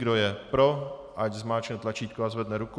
Kdo je pro, ať zmáčkne tlačítko a zvedne ruku.